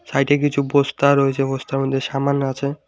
সাইডে কিছু বস্তা রয়েছে বস্তার মধ্যে কিছু সামান আছে।